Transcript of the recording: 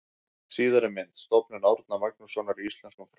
Síðari mynd: Stofnun Árna Magnússonar í íslenskum fræðum.